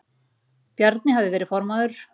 Bjarni hafði verið formaður